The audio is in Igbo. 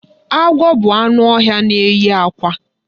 Agwọ bụ anụ ọhịa na-enye àkwá.